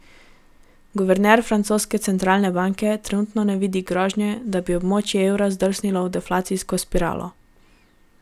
Guverner francoske centralne banke trenutno ne vidi grožnje, da bi območje evra zdrsnilo v deflacijsko spiralo.